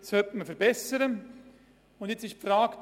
Folgende zwei Fragen sind zu lösen: